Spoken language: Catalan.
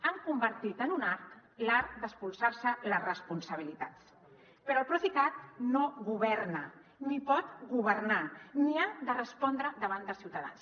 han convertit en un art l’art d’espolsar se les responsabilitats però el procicat no governa ni pot governar ni ha de respondre davant dels ciutadans